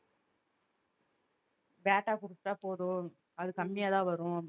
பேட்டா குடுத்துட்டா போதும் அது கம்மியாத் தான் வரும்